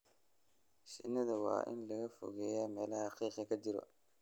Shinnida waa in laga fogeeyaa meelaha qiiqa ka jiro.